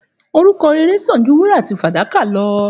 Òrúkò rẹrẹ san jú wúrà àtí fàdàkà lọ